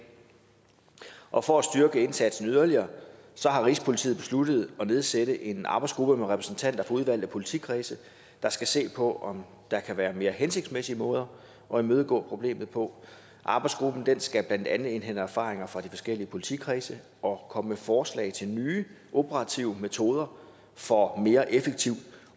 og for at styrke indsatsen yderligere har rigspolitiet besluttet at nedsætte en arbejdsgruppe med repræsentanter for udvalgte politikredse der skal se på om der kan være mere hensigtsmæssige måder at imødegå problemet på arbejdsgruppen skal blandt andet indhente erfaringer fra de forskellige politikredse og komme med forslag til nye operative metoder for mere effektivt